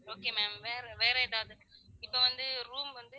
Okay ma'am வேற வேற எதாவது இப்ப வந்து room வந்து